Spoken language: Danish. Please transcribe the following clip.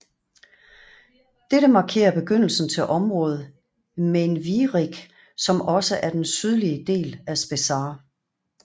Dette markerer begyndelsen til området Mainviereck som også er den sydlige del af Spessart